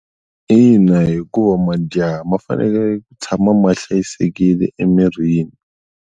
Ina hikuva majaha ma fanele ku tshama ma hlayisekile emirini.